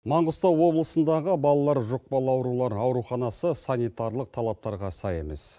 маңғыстау облысындағы балалар жұқпалы аурулар ауруханасы санитарлық талаптарға сай емес